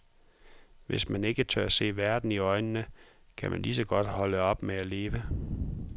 Hvis man ikke tør se verden i øjnene, kan man ligeså godt holde op med at leve.